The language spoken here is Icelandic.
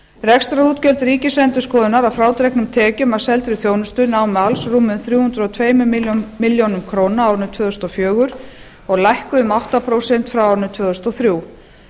rekstrarútgjöld ríkisendurskoðunar að frádregnum tekjum af seldri þjónustu námu alls rúmum þrjú hundruð og tvær milljónir króna á árinu tvö þúsund og fjögur og lækkuðu um átta prósent frá árinu tvö þúsund og þrjú